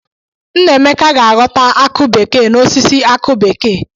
Nnaemeka ga-aghọta akụ bekee n'osisi akụ bekee.